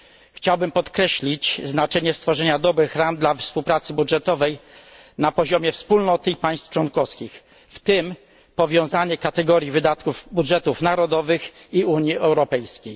Chciałbym podkreślić znaczenie stworzenia dobrych ram dla współpracy budżetowej na poziomie Wspólnoty i państw członkowskich, w tym powiązanie kategorii wydatków budżetów narodowych i Unii Europejskiej.